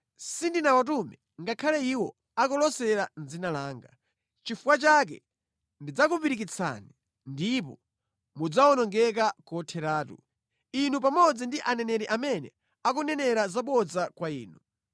Sindinawatume ngakhale iwo akulosera mʼdzina langa. Nʼchifukwa chake, ndidzakupirikitsani ndipo mudzawonongeka kotheratu, inu pamodzi ndi aneneri amene akunenera zabodza kwa inu.”